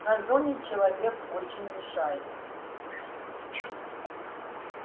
на зоне человек очень мешает